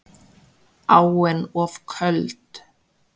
Áin of köld